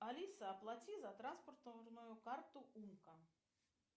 алиса оплати за транспортную карту умка